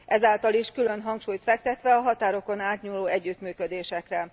Ezáltal is külön hangsúlyt fektetve a határokon átnyúló együttműködésekre.